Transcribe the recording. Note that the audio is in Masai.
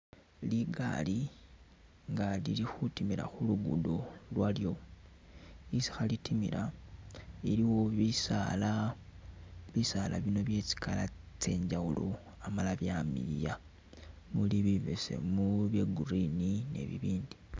Ligali nga lili khutimila khulugudo lwalyo isi khalitimila iliwo bisaala, bisaala bino byetsi color tsenjawulo amala byamiliya muli bibesemu, bya green ni bibindi